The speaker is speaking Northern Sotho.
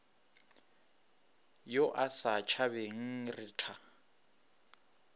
yo a sa tšhabeng retha